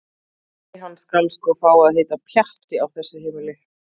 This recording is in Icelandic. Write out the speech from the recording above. Nei- hann skal sko fá að heita Pjatti á þessu heimili.